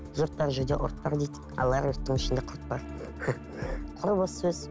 жұрт бар жерде ұрт бар дейді ал огородтың ішінде құрт бар құр бос сөз